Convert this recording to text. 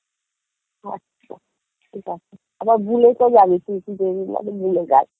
আচ্ছা ঠিক আছে আবার ভুলে তো যাবি তুই তুই তো কদিন বাদে ভুলে যাস